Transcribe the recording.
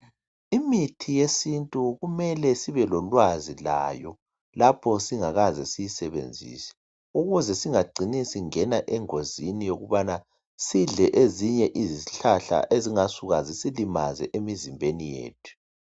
Imithi yesintu kumele sibelolwazi layo lapho singakaze siyasebenzise ukuze singagcini singena engozini yokubana sidle ezinye isihlahla ezingasuka zisilimaze emizimbeni yethu.